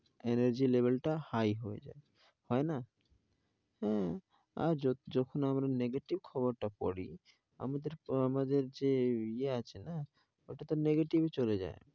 Energy level টা high হয়ে যাই. হয় না? হ্যাঁ আর যখন আমরা negative খবর টা পড়ি, আমাদের যে ইয়ে আছে না, ওটা তো negative চলে যাই